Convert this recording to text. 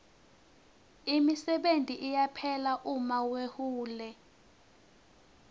imisebenti iyaphela uma wehule